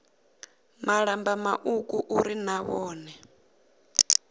malamba mauku uri na vhone